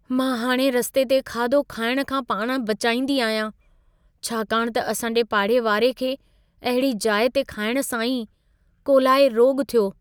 मां हाणे रस्ते ते खाधो खाइण खां पाण बचाईंदी आहियां, छाकाणि त असां जे पाड़ेवारे खे अहिड़ी जाइ ते खाइण सां ई कोलाए रोॻु थियो।